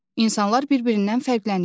İnsanlar bir-birindən fərqlənir.